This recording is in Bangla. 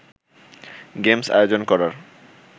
গেমস আয়োজন করার